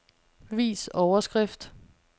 Vis overskrift.